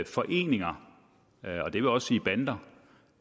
foreninger og det vil også sige bander